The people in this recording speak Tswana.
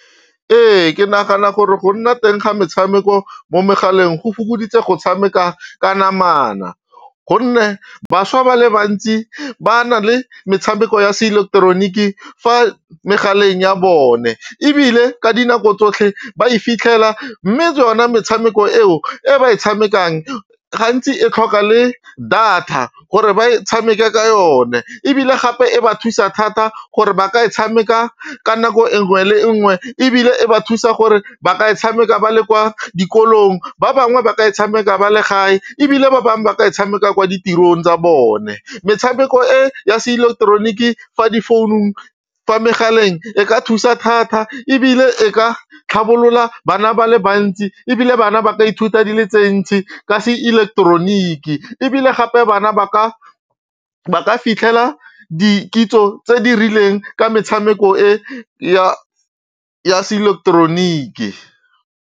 Ee, ke nagana gore go nna teng ga metshameko mo megaleng go fokoditse go tshameka ka namana gonne bašwa ba le bantsi ba na le metshameko ya seileketeroniki fa megaleng ya bone ebile ka dinako tsotlhe ba e fitlhela mme yona metshameko eo e ba e tshamekang gantsi e tlhoka le data gore ba e tshameke ka yone ebile gape e ba thusa thata gore ba ka e tshameka ka nako nngwe le nngwe ebile e ba thusa gore ba ka e tshameka ba le kwa dikolong ba bangwe ba ka e tshameka ba le gae ebile ba bangwe ba ka e tshameka kwa ditirong tsa bone, metshameko e ya seileketeroniki fa difounung, fa megaleng e ka thusa thata ebile e ka tlhabolola bana ba le bantsi ebile bana ba ka ithuta di le tse ntsi ka seileketeroniki ebile gape bana ba ka fitlhela dikitso tse di rileng ka metshameko e ya seileketeroniki.